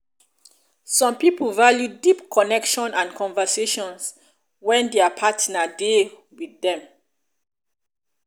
some pipo value deep connection and conversations when their partner de dey with them